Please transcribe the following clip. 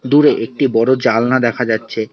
দূরে একটি বড় জালনা দেখা যাচ্ছে।